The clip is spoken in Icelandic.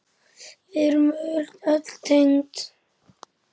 Við erum öll tengd.